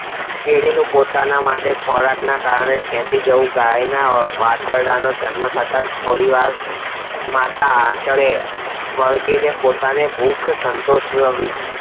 કીડી ને પોતા ના માટે ખોરાક ને કારણખેંચી જવું ગાય ના વાછરડા નો જન્મ થતા જ થોડીવાર માતા આંચળે વળગીને પોતાની ભૂખ સંતોષ વી